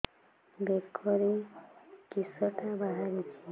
ବେକରେ କିଶଟା ବାହାରିଛି